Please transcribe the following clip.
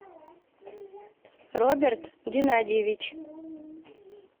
роберт геннадьевич